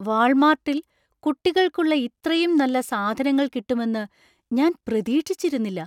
വാൾമാർട്ടിൽ കുട്ടികൾക്കുള്ള ഇത്രയും നല്ല സാധനങ്ങൾ കിട്ടുമെന്ന് ഞാൻ പ്രതീക്ഷിച്ചിരുന്നില്ല.